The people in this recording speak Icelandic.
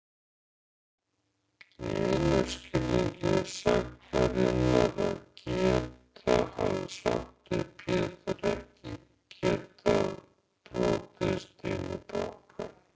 Í einum skilningi sagnarinnar að geta, hefði Svarti Pétur ekki getað brotist inn í bankann.